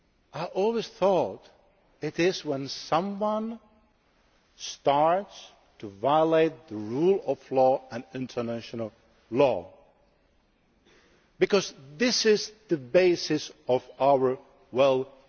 I always thought it was when someone starts to violate the rule of law and international law, because those are the bases of our wellbeing.